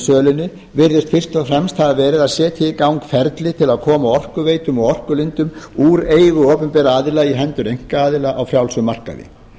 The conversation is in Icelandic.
sölunni virðist fyrst og fremst hafa verið að setja í gang ferli til að koma orkuveitum og orkulindum úr eigu opinberra aðila í hendur einkaaðila á frjálsum markaði